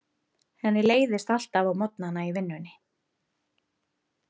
Henni leiðist alltaf á morgnana í vinnunni.